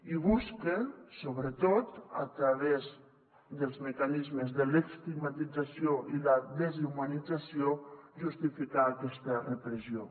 i busca sobretot a través dels mecanismes de l’estigmatització i la deshumanització justificar aquesta repressió